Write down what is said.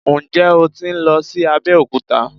Ǹjẹ́ o tí ń lọ sí Abẹ́òkúta?